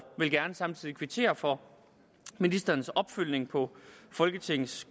vil gerne samtidig kvittere for ministerens opfølgning på folketingets